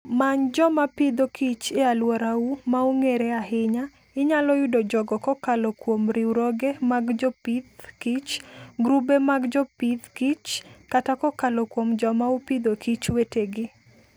Many joma Agriculture and Food e alworau ma ongere ahinya. Inyalo yudo jogo kokalo kuom riwruoge mag jopith kich, grube mag jopith kich, kata kokalo kuom joma oAgriculture and Food wetegi.